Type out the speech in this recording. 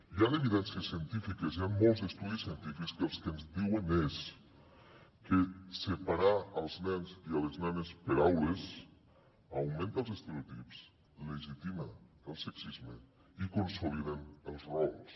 hi han evidències científiques hi han molts estudis científics que el que ens diuen és que separar els nens i les nenes per aules augmenta els estereotips legitima el sexisme i consoliden els rols